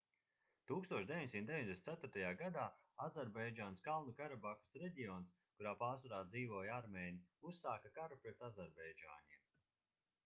1994. gadā azerbaidžānas kalnu karabahas reģions kurā pārsvarā dzīvoja armēņi uzsāka karu pret azerbaidžāņiem